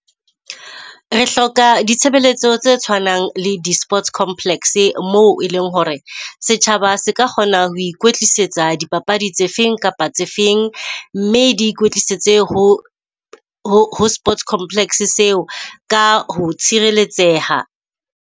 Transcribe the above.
Re hloka ditshebeletso tse tshwanang le di-sports complex moo eleng hore setjhaba se ka kgona ho ikwetlisetsa dipapadi tse feng kapa tse feng, mme di ikwetlisetse ho ho sports complex seo ka ho tshireletseha.